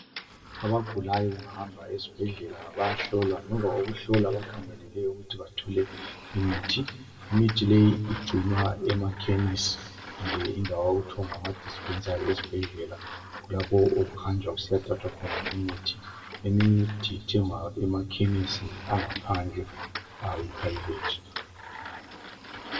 Abagulayo bengahamba esibhedlela bayahlowa. Ngemva kokuhlolwa bakhangelele ukuthi bathole imithi. Imithi leyi igcinwa emaKhemisi kumbe indawo okuthiwa ngamadispensary ezibhedlela. Kulapho okuhanjwa kusiyathathwa khona imithi. Eminye imithi ithengwa emaKhemisi angaphandle ayi private.